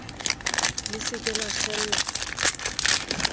le se ke la kgella